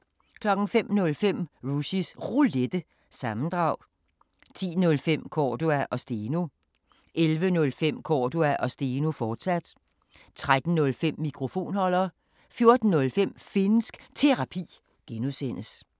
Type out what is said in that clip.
05:05: Rushys Roulette – sammendrag 10:05: Cordua & Steno 11:05: Cordua & Steno, fortsat 13:05: Mikrofonholder 14:05: Finnsk Terapi (G)